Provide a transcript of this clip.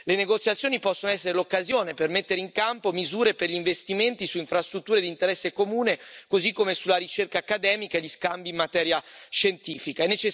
Le negoziazioni possono essere l'occasione per mettere in campo misure per gli investimenti su infrastrutture d'interesse comune, così come sulla ricerca accademica e gli scambi in materia scientifica.